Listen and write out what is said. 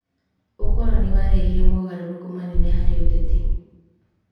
ũkoroni warehire mogarũrũku manene harĩ ũteti.